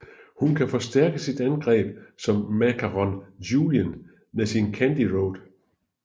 Hun kan forstærke sit angreb som Macaron Julien med sin Candy Rod